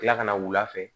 Tila kana wula fɛ